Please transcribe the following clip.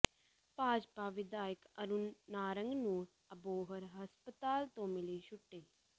ਭਾਜਪਾ ਵਿਧਾਇਕ ਅਰੁਣ ਨਾਰੰਗ ਨੂੰ ਅਬੋਹਰ ਹਸਪਤਾਲ ਤੋਂ ਮਿਲੀ ਛੁੱਟੀ